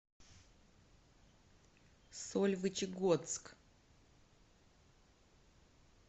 сольвычегодск